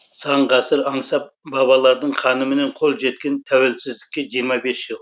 сан ғасыр аңсап бабалардың қанымен қол жеткен тәуелсіздікке жиырма бес жыл